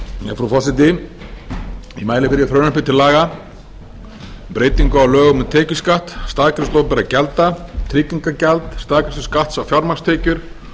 frú forseti ég mæli fyrir frumvarpi til laga um breytingu á lögum um tekjuskatt um staðgreiðslu opinberra gjalda tryggingagjald staðgreiðslu skatts á fjármagnstekjur